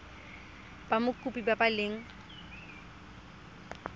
ba mokopi ba ba leng